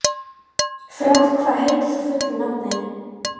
Frár, hvað heitir þú fullu nafni?